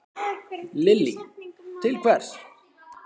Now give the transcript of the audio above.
Lillý: Til hvers?